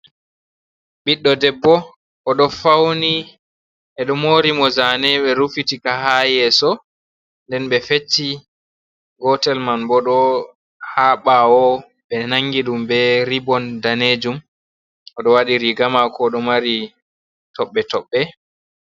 Ɓiɗdo debbo o ɗo fauni, ɓeɗo mori mo zane ɓe rufitika ha yeso, nden ɓe fecci gotel man bo ɗo ha ɓawo, ɓe nangi ɗum be ribon danejum, oɗo waɗi riga mako ɗo mari tobɓe toɓɓe.